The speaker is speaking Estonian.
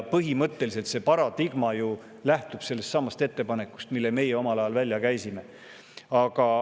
Põhimõtteliselt lähtub see paradigma sellestsamast ettepanekust, mille meie omal ajal välja käisime.